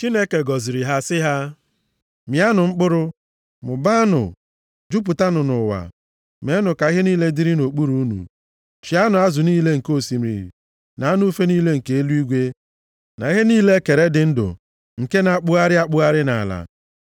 Chineke gọziri ha sị ha, “Mịanụ mkpụrụ, mụbaanụ, jupụtanụ nʼụwa, meenụ ka ihe niile dịrị nʼokpuru unu. Chịanụ azụ niile nke osimiri na anụ ufe niile nke eluigwe na ihe niile e kere dị ndụ nke na-akpụgharị akpụgharị nʼala.”